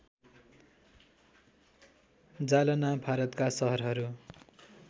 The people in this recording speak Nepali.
जालना भारतका सहरहरू